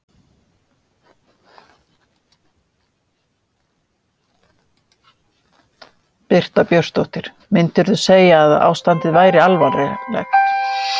Birta Björnsdóttir: Myndirðu segja að ástandið væri alvarlegt?